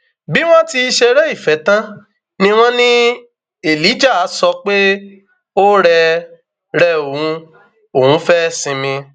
bí wọn ti ṣeré ìfẹ tán ni wọn ní elijah sọ pé ó rẹ rẹ òun òun fẹẹ sinmi